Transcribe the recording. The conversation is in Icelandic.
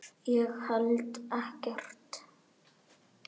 Ég held ekkert.